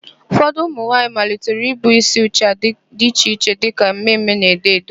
Ụfọdụ ụmụnwaanyị malitere ibu ísí ụcha dị iche iche dịka mme mme na edo edo.